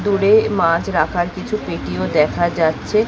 দূরে মাছ রাখার কিছু পেটি ও দেখা যাচ্ছে।